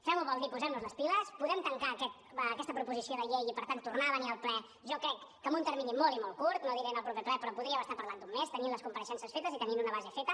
fem ho vol dir posem nos les piles podem tancar aquesta proposició de llei i per tant poder venir al ple jo crec que en un termini molt i molt curt no diré en el proper ple però podríem estar parlant d’un mes tenint les compareixences fetes i tenint una base feta